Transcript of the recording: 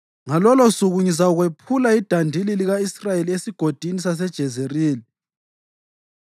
Ngalolosuku ngizakwephula idandili lika-Israyeli eSigodini saseJezerili.”